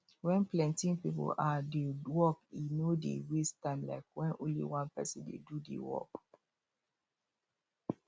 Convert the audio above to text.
when plenty people um do work e no dey waste time like when only one person dey do the work